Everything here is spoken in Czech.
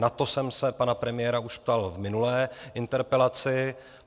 Na to jsem se pana premiéra už ptal v minulé interpelaci.